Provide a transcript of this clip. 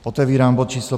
Otevírám bod číslo